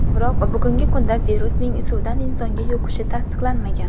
Biroq bugungi kunda virusning suvdan insonga yuqishi tasdiqlanmagan.